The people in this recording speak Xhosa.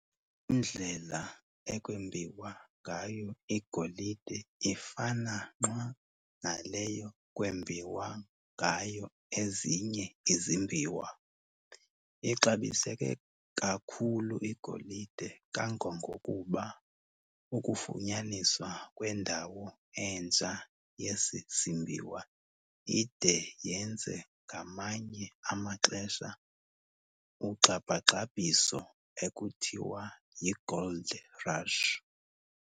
Iindlela ekwembiwa ngayo igolide ifana nqwa naleyo kwembiwa ngayo ezinye izimbiwa. Ixabiseke kakhulu igolide kangangokuba ukufunyaniswa kwendawo entsha yesi simbiwa ide yenze ngamanye amaxesha ugxabhagxabhiso ekuthiwa yi"gold rush".